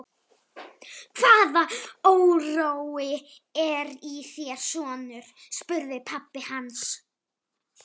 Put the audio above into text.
Hvaða órói er í þér, sonur? spurði pabbi hans.